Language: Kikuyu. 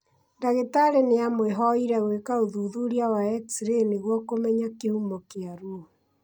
Ndagĩtarĩ nĩamwĩhoire gwĩka ũthuthuria wa X-ray nĩguo kũmenya kĩhumo kĩa ruo